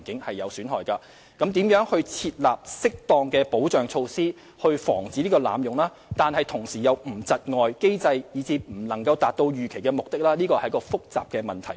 至於應如何設立適當的保障措施以防機制被濫用而同時又不會對其構成窒礙，以致不能達到預期目的是一個複雜的問題。